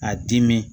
A dimi